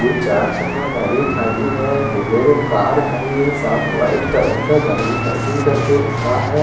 उर चार चका गाडी खड़ी है बुलेरो कार खड़ी है सब वाईट कलर का गाडी पार्किंग करके रखा है।